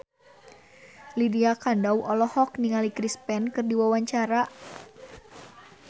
Lydia Kandou olohok ningali Chris Pane keur diwawancara